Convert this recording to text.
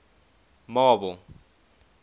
marble